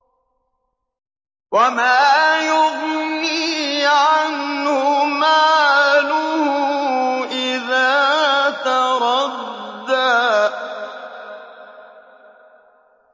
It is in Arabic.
وَمَا يُغْنِي عَنْهُ مَالُهُ إِذَا تَرَدَّىٰ